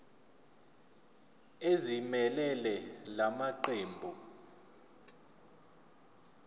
ezimelele la maqembu